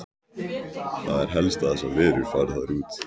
Það er helst að þessar verur fari þar út.